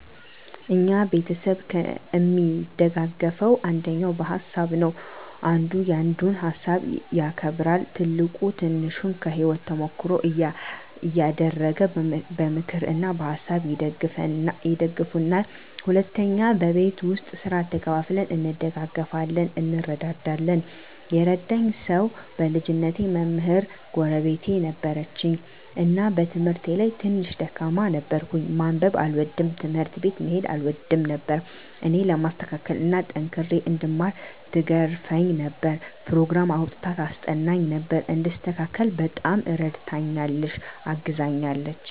እኛ ቤተሰብ እሚደጋገፈዉ አንደኛ በሀሳብ ነዉ። አንዱ ያንዱን ሀሳብ ያከብራል፣ ትልቁ ትንሹን ከህይወቱ ተሞክሮ እያደረገ በምክር እና በሀሳብ ይደግፉናል። ሁለተኛ በቤት ዉስጥ ስራ ተከፋፍለን እንደጋገፋለን (እንረዳዳለን) ። የረዳኝ ሰዉ በልጅነቴ መምህር ጎረቤት ነበረችን እና በትምህርቴ ላይ ትንሽ ደካማ ነበርኩ፤ ማንበብ አልወድም፣ ትምህርት ቤት መሄድ አልወድም ነበር እኔን ለማስተካከል እና ጠንክሬ እንድማር ትገርፈኝ ነበር፣ ኘሮግራም አዉጥታ ታስጠናኝ ነበር፣ እንድስተካከል በጣም እረድታኛለች(አግዛኛለች) ።